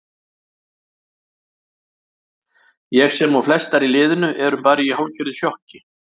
Ég sem og flestar í liðinu erum bara í hálfgerðu sjokki.